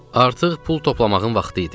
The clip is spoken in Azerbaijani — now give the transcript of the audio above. Artıq pul toplamağın vaxtı idi.